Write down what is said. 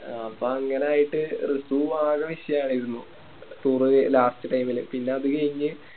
ആ അപ്പൊ അങ്ങനെ ആയിട്ട് റസു ആകെ വിഷയായിരുന്നു Toure പോയി Last ല് പിന്നെ അത് കയിഞ്ഞ്